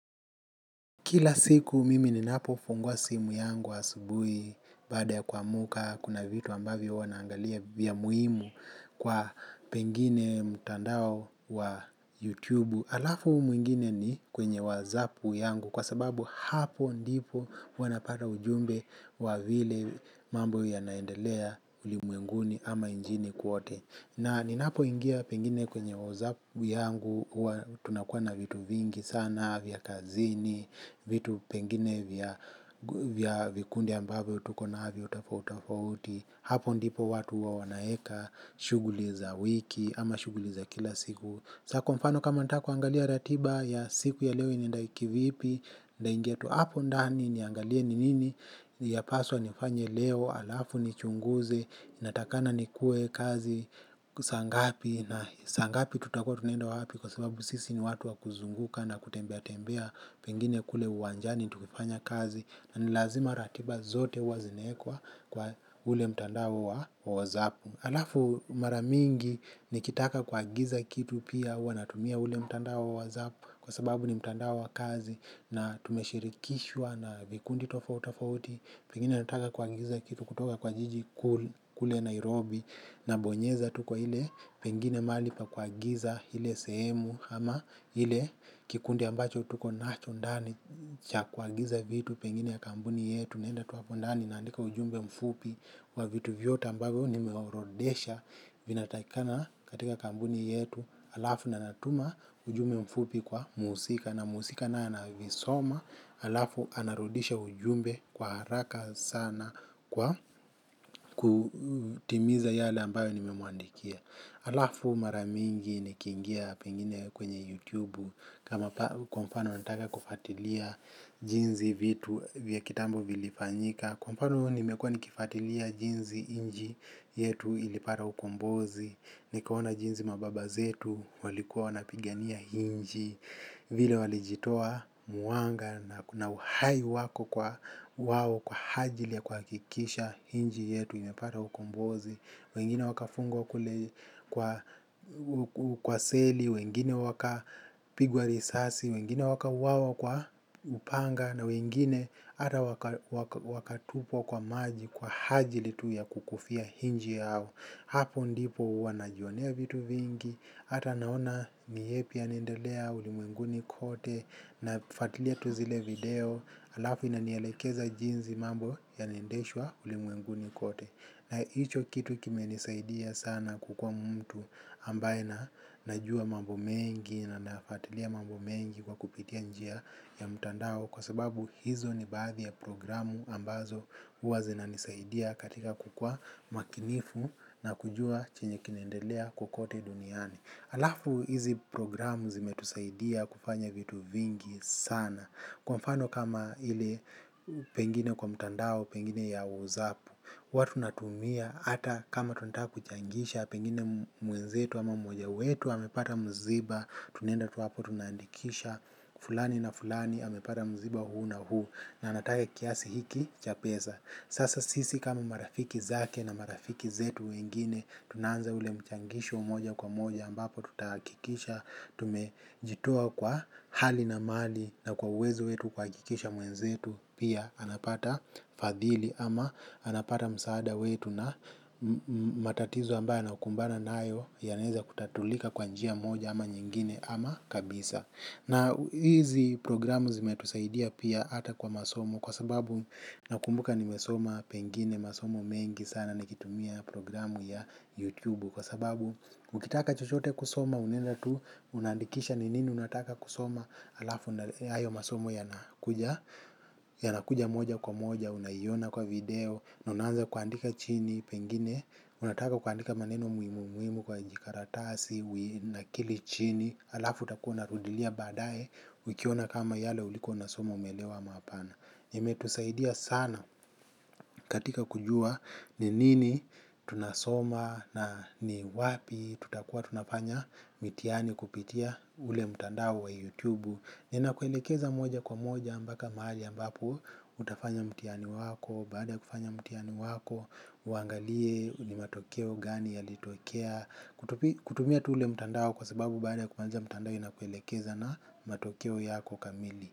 Kila siku mimi ninapofungua simu yangu asubuhi baada ya kuamuka kuna vitu ambavyo huwa naangalia vya muhimu kwa pengine mtandao wa YouTube. Alafu mwingine ni kwenye whatsApp yangu kwa sababu hapo ndipo huwa napata ujumbe wa vile mambo yanaendelea ulimwenguni ama njini kwote. Na ninapoingia pengine kwenye whatsApp yangu, huwa tunakuwa na vitu vingi sana, vya kazini, vitu pengine vya vikundi ambavyo tuko navyo tofautofauti, hapo ndipo watu huwa wanaeka, shughuli za wiki ama shughuli za kila siku. Sa kwa mfano kama nataka kuangalia ratiba ya siku ya leo inaenda kivipi, nitaingia tu hapo ndani niangalie ni nini yapaswa nifanye leo, alafu nichunguze, natakikana nikuwe kazi, saa ngapi na saa ngapi tutakuwa tunaenda wapi kwa sababu sisi ni watu wa kuzunguka na kutembea tembea pengine kule uwanjani tukifanya kazi na ni lazima ratiba zote huwa zinaekwa kwa ule mtandao wa whatsApp. Alafu mara mingi nikitaka kuagiza kitu pia huwa natumia ule mtandao wa whatsApp kwa sababu ni mtandao wa kazi na tumeshirikishwa na vikundi tofauti tofauti. Pengine nataka kuagiza kitu kutoka kwa jiji kule Nairobi nabonyeza tu kwa ile pengine mahali pa kuagiza ile sehemu ama ile kikundi ambacho tuko nacho ndani cha kuagiza vitu pengine ya kampuni yetu. Naenda tu hapo ndani naandika ujumbe mfupi wa vitu vyote ambavyo nimeorodhesha vinatakikana katika kampuni yetu alafu nanatuma ujumbe mfupi kwa muhusika na muhusika naye anavisoma alafu anarudisha ujumbe kwa haraka sana kwa kutimiza yale ambayo nimewaandikia alafu mara mingi nikiingia pengine kwenye YouTube kama kwa mfano nataka kufatilia jinsi vitu vya kitambo vilifanyika. Kwa mfano nimekuwa nikifatilia jinsi inchi yetu ilipata ukombozi. Nikaona jinsi mababa zetu walikuwa wanapigania inchi. Vile walijitoa muanga na uhai wako kwa wao kwa ajili ya kuakikisha inchi yetu ilipata ukombozi. Wengine wakafungwa kule kwa seli, wengine wakapigwa risasi, wengine wakauawa kwa upanga na wengine hata wakatupwa kwa maji kwa ajili tu ya kukufia inchi yao. Hapo ndipo huwa najionea vitu vingi hata naona ni yepi yanaendelea ulimwenguni kote. Nafatilia tu zile video. Alafi inanielekeza jinsi mambo yanaendeshwa ulimwenguni kote. Na hicho kitu kimenisaidia sana kukua mtu ambaye najua mambo mengi na nafatilia mambo mengi kwa kupitia njia ya mtandao kwa sababu hizo ni baadhi ya programu ambazo huwa zinanisaidia katika kukuwa makinifu na kujua chenye kinaendelea kokote duniani. Alafu hizi programu zimetusaidia kufanya vitu vingi sana. Kwa mfano kama ili pengine kwa mtandao, pengine ya whatsApp, huwa tunatumia hata kama tunataka kuchangisha pengine mwenzetu ama mmoja wetu amepata mziba tunaenda tu wapo tunaandikisha fulani na fulani amepata mziba huu na huu na anataka kiasi hiki cha peza sasa sisi kama marafiki zake na marafiki zetu wengine tunaanza ule mchangisho moja kwa moja ambapo tutahakikisha tumejitoa kwa hali na mali na kwa uwezo wetu kuhakikisha mwenzetu pia anapata fadhili ama anapata msaada wetu na matatizo ambayo anakumbana nayo yanaeza kutatulika kwa njia moja ama nyingine ama kabisa na hizi programu zimetusaidia pia hata kwa masomo kwa sababu nakumbuka nimesoma pengine masomo mengi sana nikitumia programu ya YouTube kwa sababu ukitaka chochote kusoma unaenda tu unaandikisha ni nini unataka kusoma alafu hayo masomo yanakuja moja kwa moja unaiona kwa video na unaanza kuandika chini pengine. Unataka kuaandika maneno muhimu muhimu kwa jikaratasi unanakili chini. Alafu utakuwa unarudilia baadaye ukiona kama yale ulikuwa unasoma umeelewa ama hapana. Imetusaidia sana katika kujua ni nini tunasoma na ni wapi tutakuwa tunafanya mitihani kupitia ule mtandao wa youtube. Inakuelekeza moja kwa moja mpaka mahali ambapo utafanya mtihani wako. Baada ya kufanya mitihani wako uangalie ni matokeo gani yalitokea. Kutumia tu ule mtandao kwa sababu baada ya kuanza mtandao inakuelekeza na matokeo yako kamili.